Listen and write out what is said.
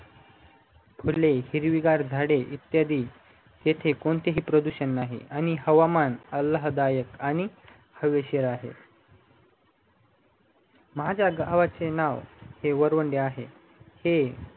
फुले हिरवी गार झाडे इत्यादि इथे कोणतेही प्रदूषण नाही आणि हवामान लाभ दायक आणि हवेशीर आहे माझ्या गावाचे नाव वरवणी आहे हे